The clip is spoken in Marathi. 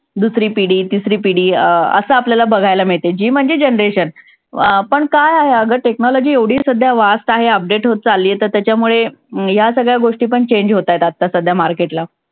दुसरी पिढी, तिसरी पिढी अं असं आपल्याला बघायला मिळतंय. G म्हणजे generation अं पण काय आहे, अगं technology एवढी सध्या fast आहे, update होत चालली आहे तर त्याच्यामुळे या सगळ्या गोष्टीपण change होताहेत आत्ता सध्या market ला.